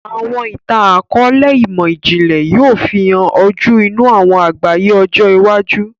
Awọn itan-akọọlẹ imọ-jinlẹ yoo fihàn ojú inú awọn àgbáyé ọjọ iwájú.